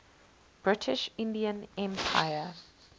british indian empire